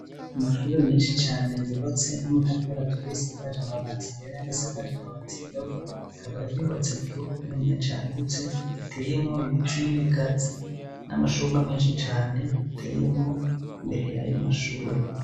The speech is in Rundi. Amashure menshi cane yubatse namatafari aturiye asakaje amabati yera ayandi asakaje amabati yirabura akaba yubatse mukibuga kiniya cagutse giteyemwo ibiti nibigazi namashugwe menshi cane ateyemwo imbere yayo mashure